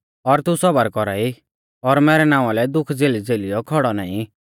और तू सौबर कौरा ई और मैरै नावां लै दुख झ़ेलीझ़ेलियौ खौड़ौ नाईं